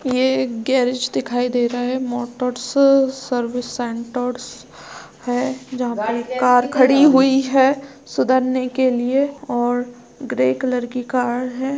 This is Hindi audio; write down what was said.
ये एक गैरेज दिखाई दे रहा हैमोटर्स सर्विस सेंटरस है जहाँ पर एक कार खड़ी हुई है सुधरने के लिए और ग्रे कलर की कार है।